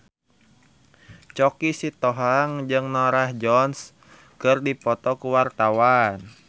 Choky Sitohang jeung Norah Jones keur dipoto ku wartawan